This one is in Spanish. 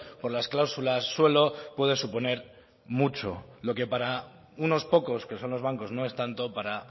por las cláusulas suelo puede suponer mucho lo que para unos pocos que son los bancos no es tanto para